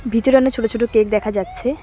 ভিতরে অনেক ছোট ছোট কেক দেখা যাচ্ছে।